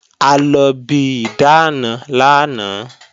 A lọ bi ìdáàna lánàá